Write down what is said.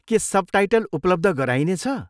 के सबटाइटल उपलब्ध गराइनेछ?